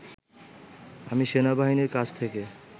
আমি সেনাবাহিনীর কাছ থেকে